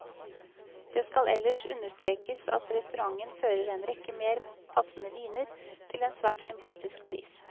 Det skal ellers understrekes at restauranten fører en rekke mer passende viner, til en svært sympatisk pris.